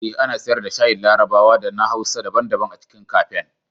Eh, ana siyar da shayin larabawa da na hausa daban-daban a cikin kafen.